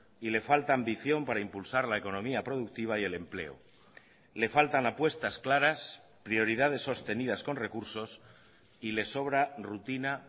y le falta ambición para impulsar la economía productiva y el empleo le faltan apuestas claras prioridades sostenidas con recursos y le sobra rutina